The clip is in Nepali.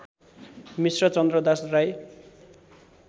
मिश्र चन्द्रदास राई